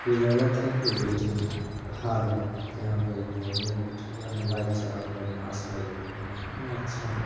यह लगत है कि वेटिंग हॉल बा जहाँ पर एगो आदमी बइठल बा मोबाइल चलावता मास्क लगौले बा कितना अच्छा बा।